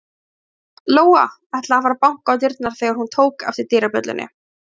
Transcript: Lóa-Lóa ætlaði að fara að banka á dyrnar þegar hún tók eftir dyrabjöllunni.